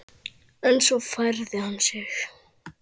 En svo færði hann sig.